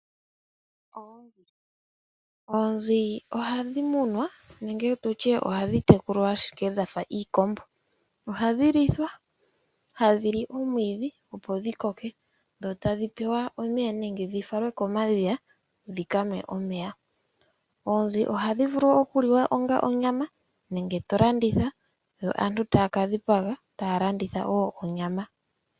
Oonzi ohadhi munwa nenge nditye ohadhi tekulwa dhafa iikombo. Ohadhi lithwa nohadhili omwiidhi opo dhikoke dho tadhi pewa omeya nenge dhifalwe komadhiya dhikanwe omeya. Oonzi ohadhi vulu oku liwa onga onyama nenge tadhilandithwa yo aantu taya kadhipaga etaya landitha wo onyama.